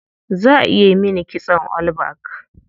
Za a yi mini kitson all back.